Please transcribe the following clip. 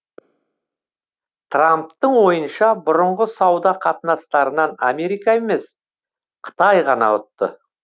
трамптың ойынша бұрынғы сауда қатынастарынан америка емес қытай ғана ұтты